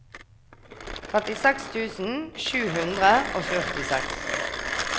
trettiseks tusen sju hundre og førtiseks